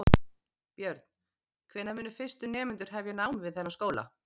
Björn: Hvenær munu fyrstu nemendur hefja nám við þennan skóla?